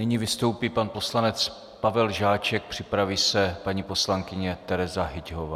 Nyní vystoupí pan poslanec Pavel Žáček, připraví se paní poslankyně Tereza Hyťhová.